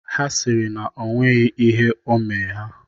Ha sịrị na o nweghi ihe o omee ha.